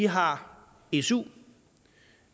har vi su